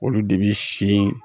Olu de bi si